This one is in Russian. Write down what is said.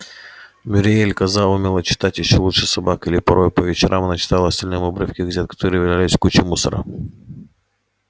мюриель коза умела читать ещё лучше собак и порой по вечерам она читала остальным обрывки газет которые валялись куче мусора